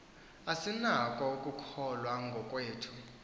asinako ukukholwa ngokwethu